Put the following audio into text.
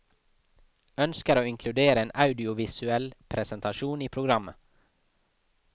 Ønsker å inkludere en audiovisuell presentasjon i programmet.